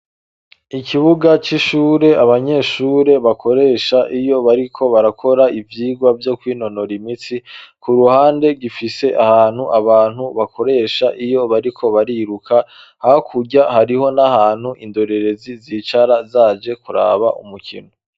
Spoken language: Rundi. Ikibuga c'ishure abanyeshure bakoresha iyo bariko barakora ivyigwa vyo kwinonora imitsi ku ruhande gifise ahantu abantu bakoresha iyo bariko bariruka hakurya hariho n'ahantu indorerezi zicara zaje kuraba umukino.